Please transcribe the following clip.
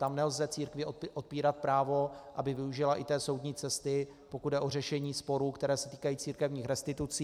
Tam nelze církvi odpírat právo, aby využila i té soudní cesty, pokud jde o řešení sporů, které se týkají církevních restitucí.